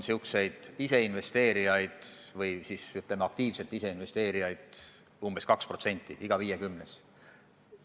Praegu on selliseid aktiivselt ise investeerijaid umbes 2% elanikest, iga viiekümnes.